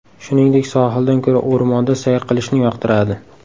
Shuningdek, sohildan ko‘ra o‘rmonda sayr qilishni yoqtiradi.